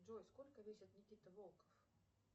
джой сколько весит никита волков